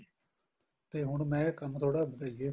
ਤੇ ਹੁਣ ਮੈਂ ਕੰਮ ਥੋੜਾ ਵਧਾਈਏ